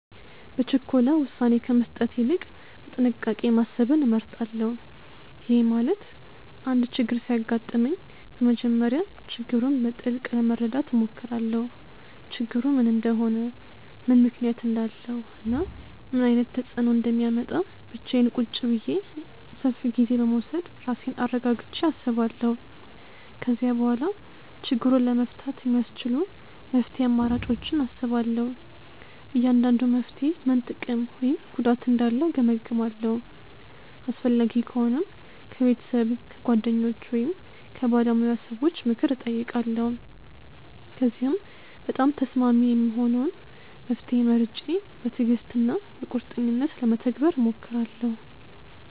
በችኮላ ውሳኔ ከመስጠት ይልቅ በጥንቃቄ ማሰብን እመርጣለሁ። ይሄ ማለት አንድ ችግር ሲያጋጥመኝ በመጀመሪያ ችግሩን በጥልቅ ለመረዳት እሞክራለሁ። ችግሩ ምን እንደሆነ፣ ምን ምክንያት እንዳለው እና ምን ዓይነት ተፅእኖ እንደሚያመጣ ብቻዬን ቁጭ ብዬ ሰፍ ጊዜ በመዉሰድ ራሴን አረጋግቸ አስባለው። ከዚያ በኋላ ችግሩን ለመፍታት የሚያስቺሉ መፍትሄ አማራጮችን አስባለሁ። እያንዳንዱ መፍትሔ ምን ጥቅም ወይም ጉዳት እንዳለው እገምግማለሁ። አስፈላጊ ከሆነም ከቤተሰብ፣ ከጓደኞች ወይም ከባለሙያ ሰዎች ምክር እጠይቃለሁ። ከዚያም በጣም ተስማሚ የሆነውን መፍትሔ መርጬ በትዕግሥት እና በቁርጠኝነት ለመተግበር እሞክራለሁ።